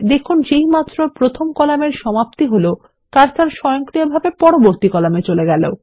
দেখুন যেইমাত্র প্রথম কলামের সমাপ্তি হল কার্সার স্বয়ংক্রিয়ভাবে পরবর্তী কলামে চলে গেল